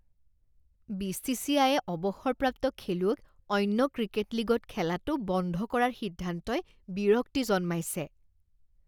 বি.চি.চি.আইয়ে অৱসৰপ্ৰাপ্ত খেলুৱৈক অন্য ক্ৰিকেট লীগত খেলাটো বন্ধ কৰাৰ সিদ্ধান্তই বিৰক্তি জন্মাইছে।